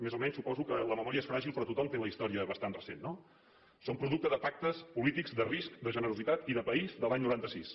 més o menys suposo que la memòria és fràgil però tothom té la història bastant recent no són producte de pactes polítics de risc de generositat i de país de l’any noranta sis